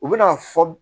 U bɛna fɔ